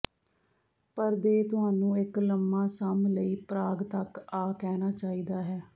ਪਰ ਦੇ ਤੁਹਾਨੂੰ ਇੱਕ ਲੰਮਾ ਸਮ ਲਈ ਪ੍ਰਾਗ ਤੱਕ ਆ ਕਹਿਣਾ ਚਾਹੀਦਾ ਹੈ